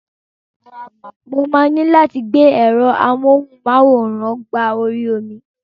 Mo máa ní láti gbé ẹ̀rọ amọ́hùn-máwòrán mí gba orí omi.